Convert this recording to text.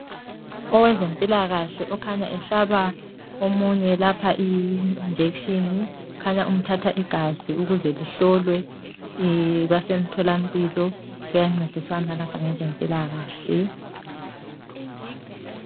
Owezempilakahle okhanya ehlaba omunye lapha injection, kukhanya umthatha igazi ukuze lihlolwe basemthola mpilo kuyancediswana lapha ngezempilakahle.